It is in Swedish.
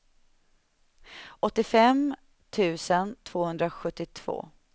åttiofem tusen tvåhundrasjuttiotvå